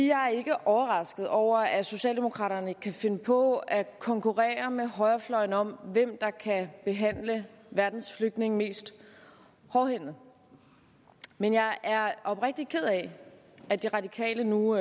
jeg er ikke overrasket over at socialdemokraterne kan finde på at konkurrere med højrefløjen om hvem der kan behandle verdens flygtninge mest hårdhændet men jeg er oprigtigt ked af at de radikale nu